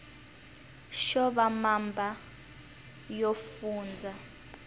xo va mamba yo fundza